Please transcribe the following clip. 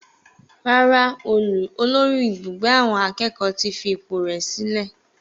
Rárá, olórí Ibugbe awon akeeko ti fi ipò rẹ̀ sílẹ̀.